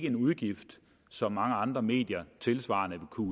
en udgift som mange andre medier tilsvarende vil kunne